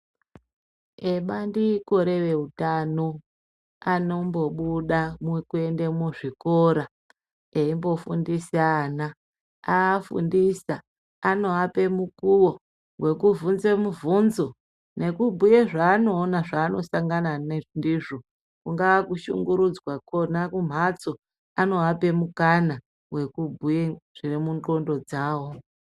Vebandiko reveutano anombobuda mukuende muzvikora, eimbofundisa ana. Aafundisa anoape mukuwo, wekuvhunze muvhunzo nekubhuye zvaanoona zvaanosangana ndizvo, kungaa kushungurudzwa kwona kumhatso, anoape mukana wekubhuye zviri mundxondo dzawo.